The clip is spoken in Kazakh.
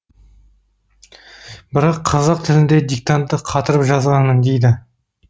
бірақ қазақ тілінде диктантты қатырып жазғанмын дейді